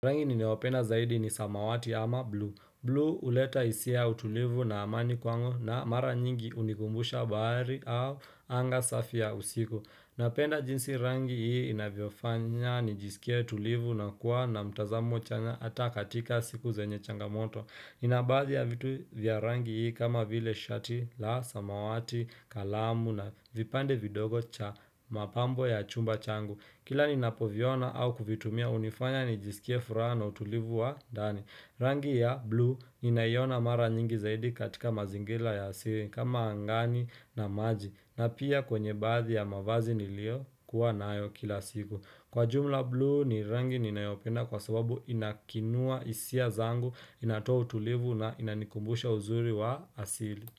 Rangi ninayopenda zaidi ni samawati ama blue. Blue huleta hisia utulivu na amani kwangu na mara nyingi hunikumbusha bahari au anga safi ya usiku. Napenda jinsi rangi hii inavyofanya nijisikie tulivu na kuwa na mtazamo chanya ata katika siku zenye changamoto. Ina baadhi ya vitu vya rangi hii kama vile shati la samawati, kalamu na vipande vidogo cha mapambo ya chumba changu. Kila ninapoviona au kuvitumia hunifanya nijisikie furaha na utulivu wa ndani Rangi ya blue ninaiona mara nyingi zaidi katika mazingira ya asili kama angani na maji na pia kwenye baadhi ya mavazi niliokuwa nayo kila siku Kwa jumla blue ni rangi ninayopenda kwa sababu inakinua hisia zangu inatoa utulivu na inanikumbusha uzuri wa asili.